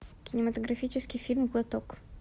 кинематографический фильм глоток